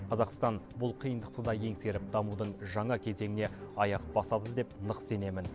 қазақстан бұл қиындықты да еңсеріп дамудың жаңа кезеңіне аяқ басады деп нық сенемін